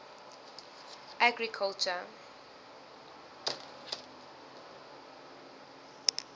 agriculture